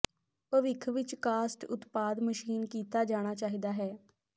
ਭਵਿੱਖ ਵਿੱਚ ਕਾਸਟ ਉਤਪਾਦ ਮਸ਼ੀਨ ਕੀਤਾ ਜਾਣਾ ਚਾਹੀਦਾ ਹੈ